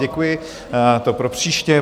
Děkuji, to pro příště.